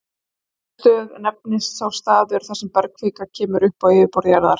Eldstöð nefnist sá staður, þar sem bergkvika kemur upp á yfirborð jarðar.